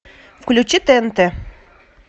включи тнт